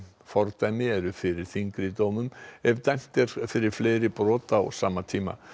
fordæmi eru fyrir þyngri dómum ef dæmt er fyrir fleiri brot á sama tíma